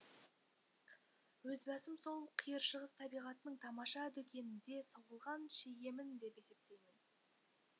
өз басым сол қиыр шығыс табиғатының тамаша дүкенінде соғылған шегемін деп есептеймін